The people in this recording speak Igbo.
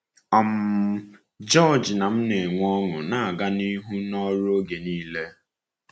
um George na m na-enwe ọṅụ na-aga n’ihu n’ọrụ oge niile.